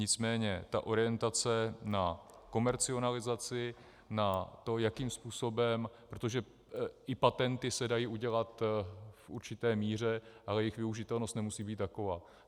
Nicméně ta orientace na komercionalizaci, na to, jakým způsobem, protože i patenty se dají udělat v určité míře, ale jejich využitelnost nemusí být taková.